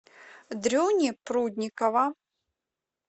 дрюни прудникова